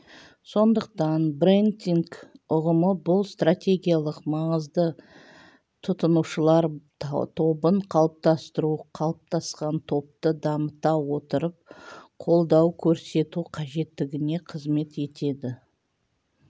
сондықтан брендинг ұғымы бұл стратегиялық маңызды тұтынушылар тобын қалыптастыру қалыптасқан топты дамыта отырып қолдау көрсету қажеттігіне қызмет етеді